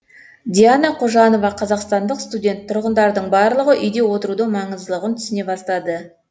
диана кожанова қазақстандық студент тұрғындардың барлығы үйде отырудың маңыздылығын түсіне бастады